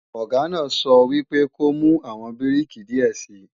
Ọ̀gá náà sọ wípé ko mú àwọn bíríkì díẹ̀ sii!